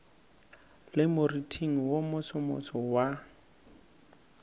le moriting wo mosomoso wa